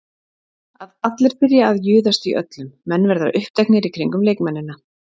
Allir byrja að juðast í öllum, menn verða uppteknir í kringum leikmennina.